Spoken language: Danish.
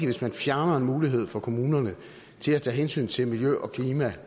hvis man fjerner en mulighed for kommunerne til at tage hensyn til miljø og klima